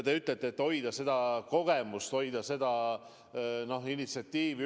Te ütlete, et tuleb hoida kogemust, tuleb hoida initsiatiivi.